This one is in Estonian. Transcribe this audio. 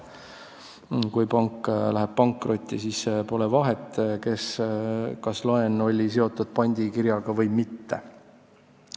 Kui pank läheb pankrotti, siis pole vahet, kas laen oli seotud pandikirjaga või mitte.